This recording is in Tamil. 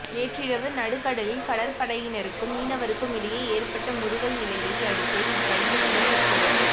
நேற்றிரவு நடுக்கடலில் கடற்படையினருக்கும் மீனவருக்கும் இடையே ஏற்பட்ட முறுகல் நிலையை அடுத்தே இக் கைது இடம்பெற்றுள்ளது